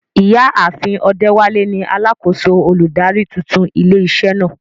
Ìyá àfin Odewale ni alákòóso olùdarí tuntun ilé iṣẹ́ náà.